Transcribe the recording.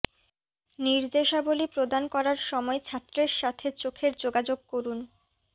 নির্দেশাবলী প্রদান করার সময় ছাত্রের সাথে চোখের যোগাযোগ করুন